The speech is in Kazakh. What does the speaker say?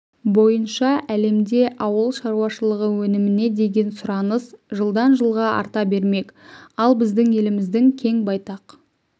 бойынша әлемде ауыл шаруашылығы өніміне деген сұраныс жылдан-жылға арта бермек ал біздің еліміздің кең байтақ